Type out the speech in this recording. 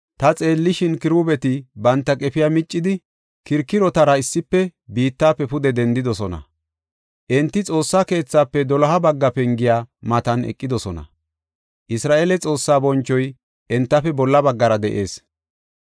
Ta xeellishin, Kiruubeti banta qefiya miccidi, kirikirotara issife biittafe pude dendidosona. Enti Xoossaa keethafe doloha bagga pengiya matan eqidosona. Isra7eele Xoossaa bonchoy entafe bolla baggara de7ees.